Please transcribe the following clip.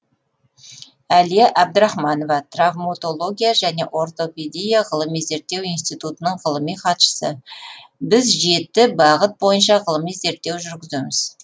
әлия әбдірахманова травматология және ортопедия ғылыми зерттеу институтының ғылыми хатшысы біз жеті бағыт бойынша ғылыми зерттеу жүргіземіз